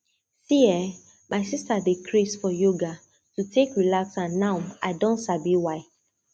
see[um]my sister dey craze for yoga to take relax and now i don sabi why